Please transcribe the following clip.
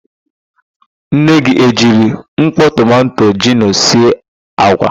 Nne gị e jiri mkpọ tomanto gino sie àgwà?